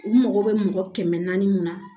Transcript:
U mago bɛ mɔgɔ kɛmɛ naani mun na